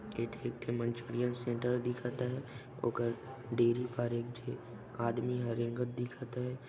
ए ए ठो Manchurian centre दिखथ हे ओकर डेरी पर एक झी आदमी ह रेंगत दिखत हे।